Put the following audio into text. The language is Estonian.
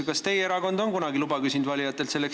Kas teie erakond on selleks kunagi valijatelt luba küsinud?